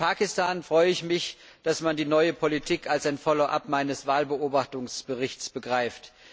Was Pakistan betrifft, so freue ich mich, dass man die neue Politik als ein Follow up meines Wahlbeobachtungsberichts begreift.